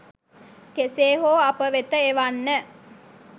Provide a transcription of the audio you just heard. කෙසේ හෝ අප වෙත එවන්න.